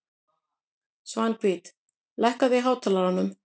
Svanhvít, lækkaðu í hátalaranum.